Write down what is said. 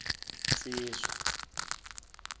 nsizwa